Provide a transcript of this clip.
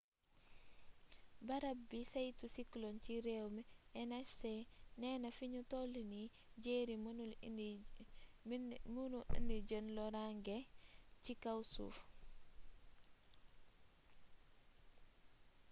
barab bi saytu cyclone ci réew mi nhc neena fiñu tollu nii jerry mënul indi jenn loraange ci kaw suuf